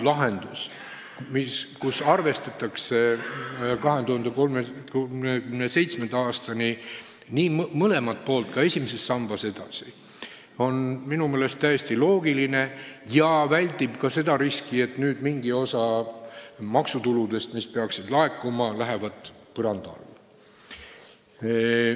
Lahendus, kus arvestatakse 2037. aastani mõlemat poolt ka esimeses sambas edasi, on minu meelest täiesti loogiline ja väldib riski, et nüüd mingi osa maksutuludest, mis peaksid laekuma, lähevad põranda alla.